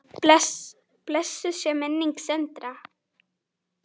Blessuð sé minning Sindra.